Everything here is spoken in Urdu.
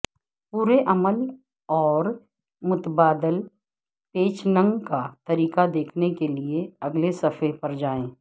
پورے عمل اور متبادل پیچنگ کا طریقہ دیکھنے کے لئے اگلے صفحے پر جائیں